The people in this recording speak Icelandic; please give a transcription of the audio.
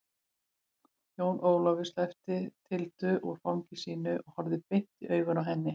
Jón Ólafur sleppti Tildu úr fangi sínu og horfði beint i augun á henni.